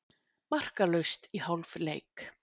Markalaust í hálfleik.